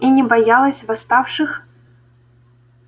и не боялась восставших